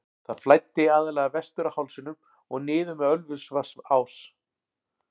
Það flæddi aðallega vestur af hálsinum og niður með Ölfusvatnsá.